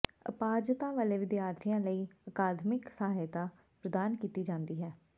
ਅਪਾਹਜਤਾ ਵਾਲੇ ਵਿਦਿਆਰਥੀਆਂ ਲਈ ਅਕਾਦਮਿਕ ਸਹਾਇਤਾ ਪ੍ਰਦਾਨ ਕੀਤੀ ਜਾਂਦੀ ਹੈ